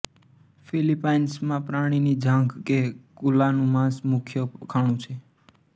ફિલિપાઇન્સમાં પ્રાણીની જાંઘ કે કુલાનું માંસ મુખ્ય ખાણું છે